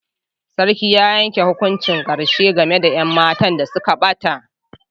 Sarkin ya yanke hukuncin karshe game da 'yan matan da suka bata.